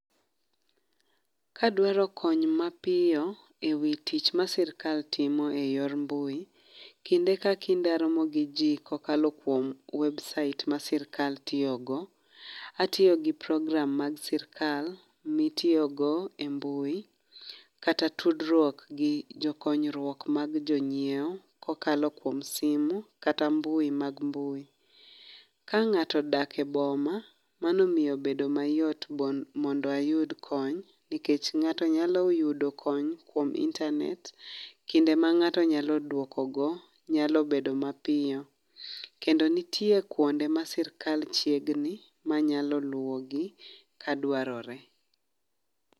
Kadwaro kony mapiyo, ewi tich ma sirkal timo eyor mbui, kinde ka kinde aromo gi jii kokalo kuom website ma sirkal tiyo go. Atiyo gi program mag sirkal, mitiyogo e mbui, kata tudruok gi jokonyruok mag jo nyieo kokalo kuom simu kata mbui mag mbui. Ka ng'ato odak e boma, mano miyo bedo mayot mondo ayud kony nikech, ng'ato nyalo oyudo kony kuom internet kinde ma ng'ato nyalo duoko go, nyalo bedo mapiyo. Kendo nitie kwonde ma sirkal chiegni, manyalo luwogi kadwarore